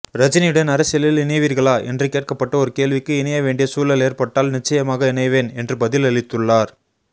ரஜினியுடன் அரசியலில் இணைவீர்களா என்று கேட்கப்பட்ட ஒரு கேள்விக்கு இணைய வேண்டிய சூழல் ஏற்பட்டால் நிச்சயமாக இணைவேன் என்று பதிலளித்துள்ளார்